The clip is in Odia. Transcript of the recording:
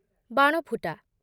ବାଣଫୁଟା